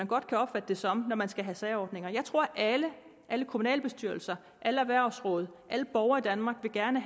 godt kan opfattes som når man skal have særordninger jeg tror at alle kommunalbestyrelser alle erhvervsråd alle borgere i danmark gerne